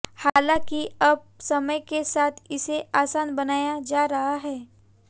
हालाँकि अब समय के साथ इसे आसान बनाया जा रहा है